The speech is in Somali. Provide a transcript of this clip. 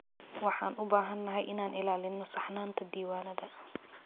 Waxaan u baahanahay inaan ilaalino saxnaanta diiwaanada.